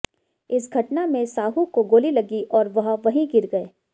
इस घटना में साहू को गोली लगी और वह वहीं गिर गए